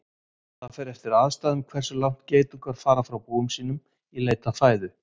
Það fer eftir aðstæðum hversu langt geitungar fara frá búum sínum í leit að fæðu.